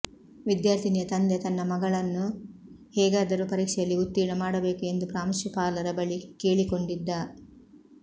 ವಿದ್ಯಾರ್ಥಿನಿಯ ತಂದೆ ತನ್ನ ಮಗಳನ್ನು ಹೇಗಾದರೂ ಪರೀಕ್ಷೆಯಲ್ಲಿ ಉತ್ತೀರ್ಣ ಮಾಡಬೇಕು ಎಂದು ಪ್ರಾಂಶುಪಾಲರ ಬಳಿ ಕೇಳಿಕೊಂಡಿದ್ದ